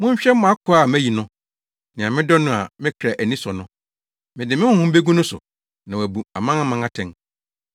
“Monhwɛ mʼakoa a mayi no, nea medɔ no a me kra ani sɔ no, mede me honhom begu no so, na wabu amanaman atɛn.